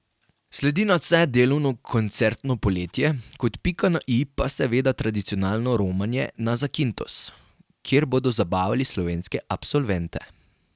Sledi nadvse delavno koncertno poletje, kot pika na i pa seveda tradicionalno romanje na Zakintos, kjer bodo zabavali slovenske absolvente.